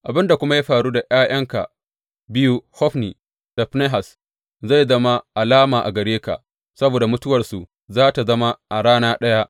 Abin da kuma ya faru da ’ya’yanka biyu Hofni da Finehas zai zama alama a gare ka; saboda mutuwarsu za tă zama a rana ɗaya.